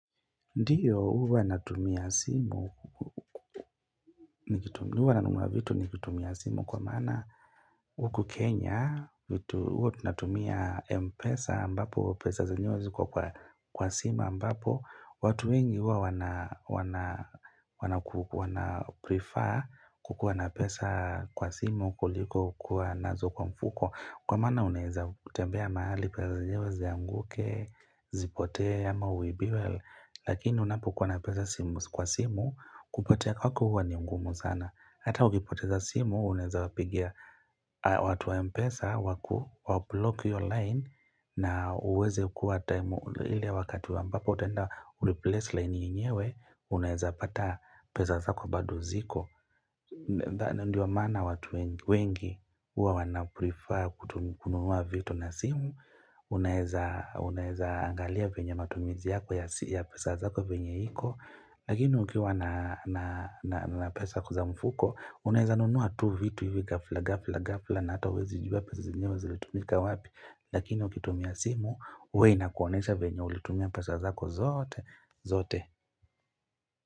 Ndiyo huwa natumia simu, huwa nanuna vitu nikitumia simu kwa mana huku Kenya, huwa natumia mpesa mbapo pesa zenywe zikuwa kwa sima mbapo, watu wengi huwa wana prefer kukuwa na pesa kwa simu kuliko kuwa nazo kwa mfuko Kwa maana unaeza kutembea mahali, pazajewezi ya mguke, zipotea ama uibiwe, lakini unapokuwa na pesa simu kwa simu, kupotea kwako hukua ni ngumu sana. Hata hukipoteza simu, unaheza wapigia watu wa mpesa, waku, wa block yo line na uweze kuwa time ili wakati wambapo utenda kureplace line yeyewe, unaheza pata pesa sako bada zako. Ndo maana watu wengi huwa wa prefer kununua vitu na simu unaweza unaweza angalia venye matumizi yako ya pesa yako vile ipo Lakini ukiwa na pesa za mfuko Unaeza nunua tu vitu hivi gafla gafla gafla na ata uwezi juba pesa zinyewezi litumika wapi Lakini ukitumia simu uwe inakuonesha venya ulitumia pesa zako zote zote.